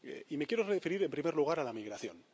Me quiero referir en primer lugar a la migración.